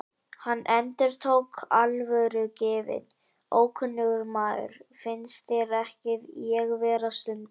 Hann endurtók, alvörugefinn: Ókunnugur maður, finnst þér ekki ég vera stundum?